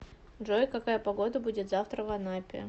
джой какая погода будет завтра в анапе